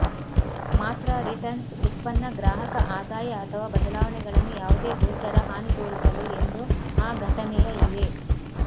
ಮಾತ್ರ ರಿಟರ್ನ್ಸ್ ಉತ್ಪನ್ನ ಗ್ರಾಹಕ ಆದಾಯ ಅಥವಾ ಬದಲಾವಣೆಗಳನ್ನು ಯಾವುದೇ ಗೋಚರ ಹಾನಿ ತೋರಿಸಲು ಎಂದು ಆ ಘಟನೆಯ ಇವೆ